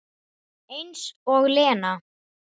Eins og Lena!